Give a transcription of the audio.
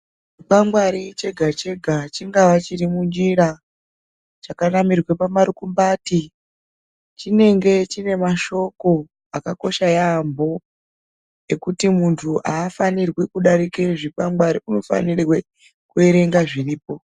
Chikwangwari chega chega chingava chi kwangwari chiri munjira chak namirwe pamarumbati chinenge chine masho akakosha yambo nekuti muntu hafanirwi kudarika zvikwangwari anofanirwa kuverenga zviripo.